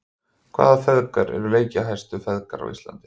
Hvaða feðgar eru leikjahæstu feðgar á Íslandi?